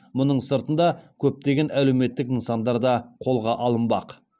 мұның сыртында көптеген әлеуметтік нысандар да қолға алынбақ